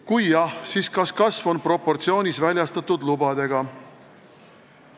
Kui jah, siis kas kasv on proportsioonis väljastatud lubade arvuga?